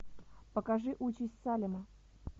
покажи участь салема